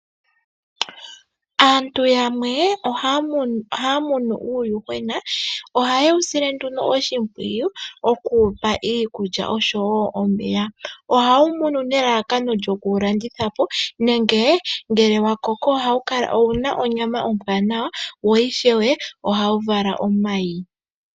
Aantu yamwe ohaya munu uuyuhwena ohaye wu sile nduno oshimpwiyu okuwupa iikulya oshowo omeya. Ohaye munu nelalakano lyoku wu landithapo nenge ngele wa koko owuna onyama ombwanawa wo ishewe ohawu vala omayi.